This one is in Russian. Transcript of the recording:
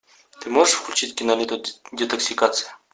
ты можешь включить киноленту детоксикация